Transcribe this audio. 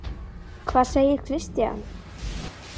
Hvað segir Kristján?